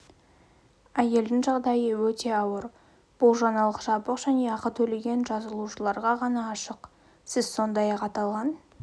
әйелдің жағдайы өте ауыр бұл жаңалық жабық және ақы төлеген жазылушыларға ғана ашық сіз сондай-ақ аталған